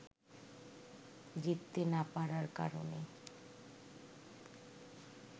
জিততে না পারার কারণে